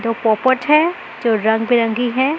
जो पोपट है जो रंग बिरंगी हैं।